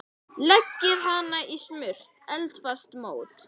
Leggið hann í smurt eldfast mót.